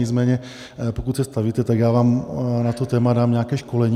Nicméně pokud se stavíte, tak já vám na to téma dám nějaké školení.